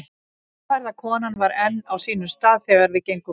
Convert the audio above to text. Gráhærða konan var enn á sínum stað þegar við gengum út.